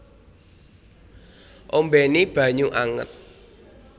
Ombéni banyu anget